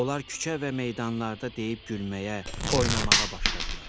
Onlar küçə və meydanlarda deyib gülməyə, oynamağa başladılar.